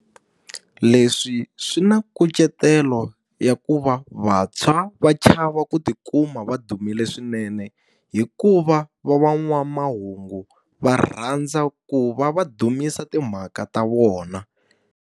Leswi swi na nkucetelo ya ku va vantshwa va chava ku ti kuma va dumile swinene. Hikuva va van'wanamahungu va rhandza ku va va dumisa timhaka ta vona.